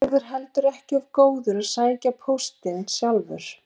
Sigurður heldur ekki of góður að sækja póstinn sjálfur.